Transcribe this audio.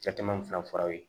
Cɛ caman fila fɔra aw ye